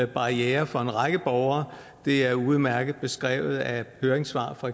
barriere for en række borgere det er udmærket beskrevet af høringssvar fra